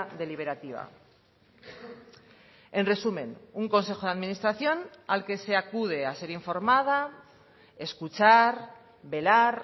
deliberativa en resumen un consejo de administración al que se acude a ser informada escuchar velar